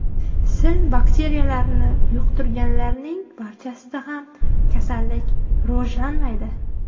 Sil bakteriyalarini yuqtirganlarning barchasida ham kasallik rivojlanmaydi.